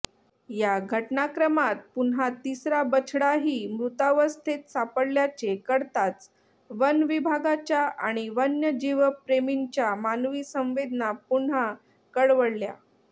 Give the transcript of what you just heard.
या घटनाक्रमात पुन्हा तिसरा बछडाही मृतावस्थेत सापडल्याचे कळताच वनविभागाच्या आणि वन्यजीवप्रेमींच्या मानवी संवेदना पुन्हा कळवळल्या